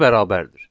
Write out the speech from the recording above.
Ona bərabərdir.